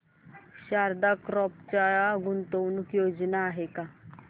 Sharda crop च्या गुंतवणूक योजना आहेत का